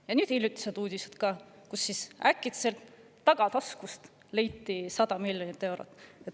Ja ka hiljutised uudised selle kohta, kuidas äkitselt leiti tagataskust 100 miljonit eurot.